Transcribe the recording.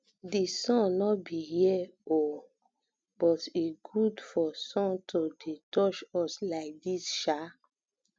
dis sun no be here oo oo but e good for sun to dey touch us like dis sha